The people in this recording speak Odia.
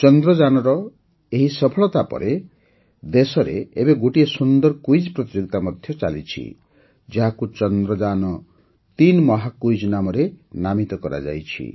ଚନ୍ଦ୍ରଯାନର ଏହି ସଫଳତା ପରେ ଦେଶରେ ଏବେ ଗୋଟିଏ ସୁନ୍ଦର କୁଇଜ୍ ପ୍ରତିଯୋଗିତା ମଧ୍ୟ ଚାଲିଛି ଯାହାକୁ ଚନ୍ଦ୍ରଯାନ୩ ମହାକୁଇଜ୍ ନାମରେ ନାମିତ କରାଯାଇଛି